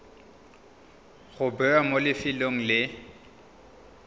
go bewa mo lefelong le